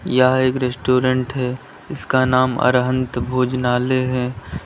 यह एक रेस्टोरेंट है जिसका नाम अरहन्त भोजनालय है।